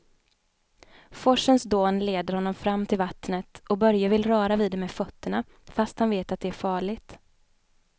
Forsens dån leder honom fram till vattnet och Börje vill röra vid det med fötterna, fast han vet att det är farligt.